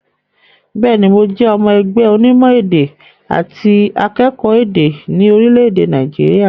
Bẹ́ẹ̀ ní, mo jẹ́ ọmọ ẹgbẹ́ ọnímọ̀-èdẹ̀ àti akẹ́kọ̀ọ́ èdè ní orílẹ̀-èdè Nàìjíríà.